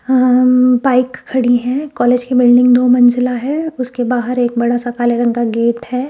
Bike खड़ी है college की बिल्डिंग दो मंजिला है उसके बाहर एक बड़ा सा काले रंग का गेट है।